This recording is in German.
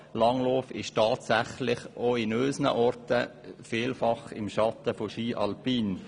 Langlauf steht tatsächlich auch in unseren Orten im Schatten von Ski alpin.